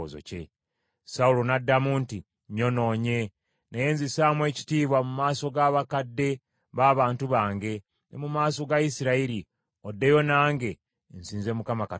Sawulo n’addamu nti, “Nyonoonye, naye nzisaamu ekitiibwa mu maaso g’abakadde b’abantu bange, ne mu maaso ga Isirayiri, oddeyo nange, nsinze Mukama Katonda wo.”